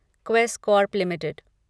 Quess Corp limited